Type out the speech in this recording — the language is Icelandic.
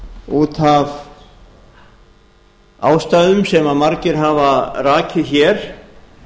út af ástæðum sem margir hafa rakið hér